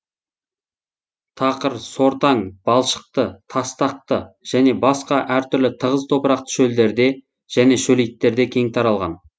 тақыр сортаң балшықты тастақты және басқа әртүрлі тығыз топырақты шөлдерде және шөлейттерде кең таралған